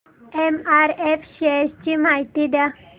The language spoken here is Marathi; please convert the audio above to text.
एमआरएफ शेअर्स ची माहिती द्या